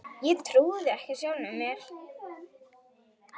Ég trúði ekki sjálfum mér.